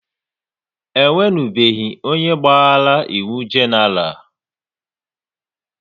E nwenubeghi onye gbaghara iwu Genaral